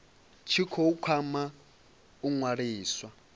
tshi khou kwama u ṅwaliswa